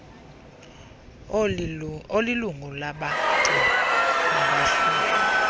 olilungu labagcini nabahloli